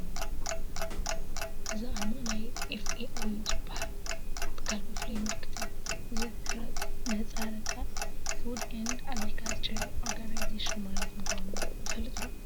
እዚ ኣርማ ናይ FAO ዝበሃል ትካል መፍለዪ ምልክት እዩ፡፡ እዚ ምህፃረ ቃል ፉድ ኤንድ ኣግሪካልቸር ኦርጋናይዜሽን ማለት ምዃኑ ንፈልጥ ዶ?